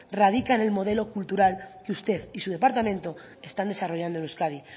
radica en el modelo cultural que usted y su departamento están desarrollando en euskadi